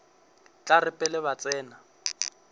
tla re pele ba tsena